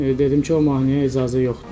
Dedim ki, o mahnıya icazə yoxdur.